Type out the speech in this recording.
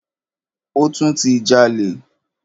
Ó tún ti jalè.